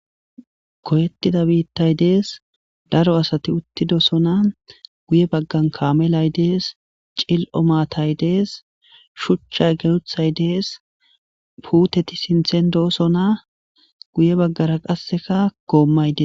Goyettida biittay dees. Daro asati uttidosona. Guye baggan kaamay dees. Cililo maatay dees. Shuchcha guttay dees. Puuteti sinthan doosona. Guye baggara qasseka goommay dees.